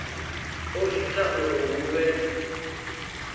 o ita uri hu vhe